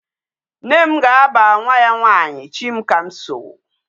Nne m ga-aba nwa ya nwanyị Chimkamso.